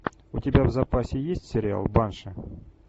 у тебя в запасе есть сериал банши